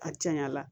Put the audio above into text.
A caya la